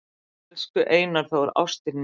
"""Elsku Einar Þór, ástin mín,"""